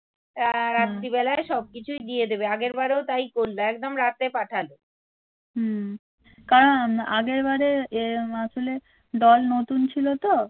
কারণ আগেরবারের মাসুলের দল নতুন ছিল তো